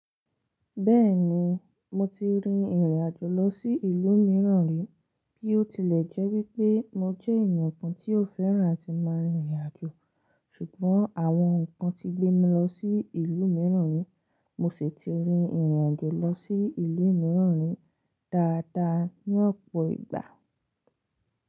Bẹ́ẹ̀ni, mo ti rin ìrìn àjò lọ sí ìlú mìíràn rí. Bí ó tilẹ̀ jẹ́ wípé mo jẹ́ ènìyàn kan tí ò fẹ́ràn ti máa rin ìrìn àjò, ṣùgbọ́n àwọn ǹkan ti gbé mi lọ sí ìlú mìíràn rí. Mo sì ti rin ìrìn àjò lọ sí ilu mìíràn rí dáadáa ní ọ̀pọ̀ ìgbà.